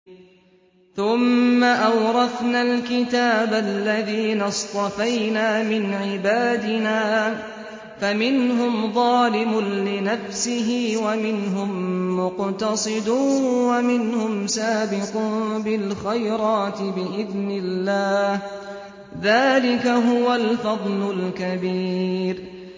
ثُمَّ أَوْرَثْنَا الْكِتَابَ الَّذِينَ اصْطَفَيْنَا مِنْ عِبَادِنَا ۖ فَمِنْهُمْ ظَالِمٌ لِّنَفْسِهِ وَمِنْهُم مُّقْتَصِدٌ وَمِنْهُمْ سَابِقٌ بِالْخَيْرَاتِ بِإِذْنِ اللَّهِ ۚ ذَٰلِكَ هُوَ الْفَضْلُ الْكَبِيرُ